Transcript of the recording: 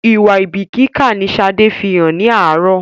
Ìwà àìbíkíkà ni Sade fí hàn ní àárọ̀